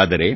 ಆದರೆ